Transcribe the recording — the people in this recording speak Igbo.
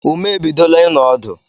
Ume ebidola ino ọdụ